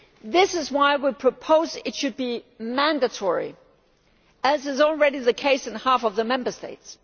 This is why we propose that it should be mandatory, as is already the case in half of the Member States.